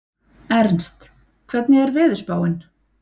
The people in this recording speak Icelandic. Ernst, hvernig er veðurspáin?